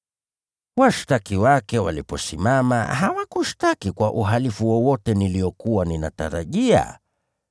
Washtaki wake waliposimama, hawakushtaki kwa uhalifu wowote niliokuwa ninatarajia.